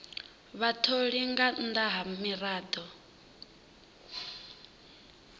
vhatholi nga nnḓa ha miraḓo